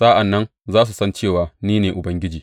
Sa’an nan za su san cewa ni ne Ubangiji.